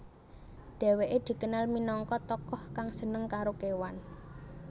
Dheweke dikenal minangka tokoh kang seneng karo kewan